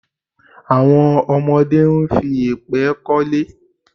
Àwọn ọmọdé ń fi yèpẹ̀ k'ọ́lé.